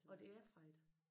Og det er fredag?